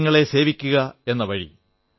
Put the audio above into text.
ജനങ്ങളെ സേവിക്കയെന്ന വഴി